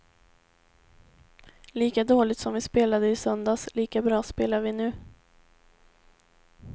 Lika dåligt som vi spelade i söndags, lika bra spelade vi nu.